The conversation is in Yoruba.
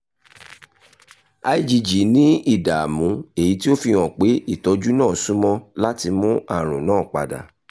igg ni idaamu eyiti o fihan pe itọju naa sunmọ lati mu arun naa pada